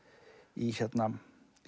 í